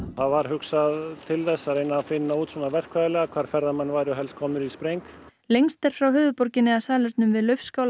var hugsað til þess að reyna að finna út svona verkfræðilega hvar ferðamenn væru helst komnir í spreng lengst er frá höfuðborginni að salernum við